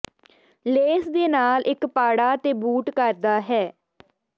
ਲੇਸ ਦੇ ਨਾਲ ਇੱਕ ਪਾੜਾ ਤੇ ਬੂਟ ਕਰਦਾ ਹੈ